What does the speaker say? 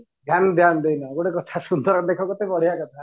ଧ୍ୟାନ ଧ୍ୟାନ ଦେଇନ ଗୋଟେ କଥା ସୁନ୍ଦର ଦେଖ କେତେ ବଢିଆ କଥା